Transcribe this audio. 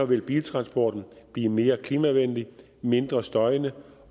vil biltransporten blive mere klimavenlig mindre støjende